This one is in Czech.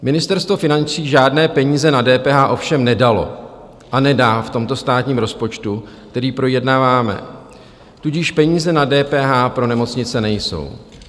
Ministerstvo financí žádné peníze na DPH ovšem nedalo a nedá v tomto státním rozpočtu, který projednáváme, tudíž peníze na DPH pro nemocnice nejsou.